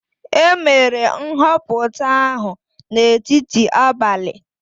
E mere nhọpụta ahụ n'etiti abalị.